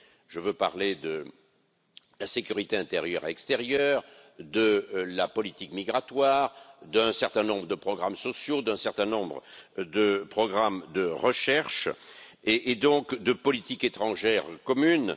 Je veux parler de la sécurité intérieure et extérieure, de la politique migratoire, d'un certain nombre de programmes sociaux, d'un certain nombre de programmes de recherche et de politique étrangère commune.